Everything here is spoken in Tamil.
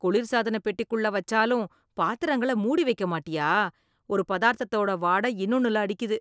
குளிர் சாதனப் பெட்டிக்குள்ள வச்சாலும் பாத்திரங்கள மூடி வைக்க மாட்டியா, ஒரு பதார்த்தத்தோட வாட இன்னொன்னுல அடிக்குது.